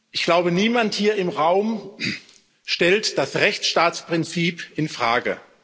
Ich glaube, niemand hier im Raum stellt das Rechtsstaatsprinzip infrage.